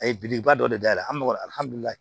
A ye belebeleba dɔ dayɛlɛ an bɛ nɔgɔ ali